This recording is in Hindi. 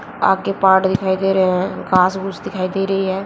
आ के पाड़ दिखाई दे रहे हैं घास फूस दिखाई दे रही है।